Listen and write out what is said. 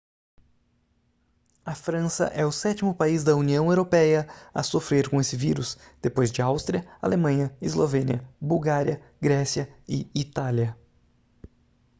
a frança é o sétimo país da união europeia a sofrer com esse vírus depois de áustria alemanha eslovênia bulgária grécia e itália